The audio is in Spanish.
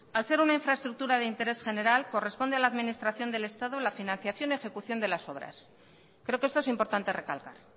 al ser una infraestructura de interés general corresponde a la administración del estado la financiación y ejecución de las obras creo que esto es importante recalcar